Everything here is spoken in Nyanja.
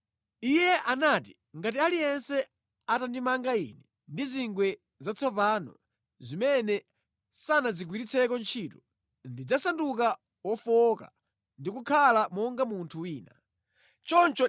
Iye anati, “Ngati aliyense atandimanga ine ndi zingwe zatsopano zimene sanazigwiritseko ntchito, ndidzasanduka wofowoka ndi kukhala monga munthu wina aliyense.”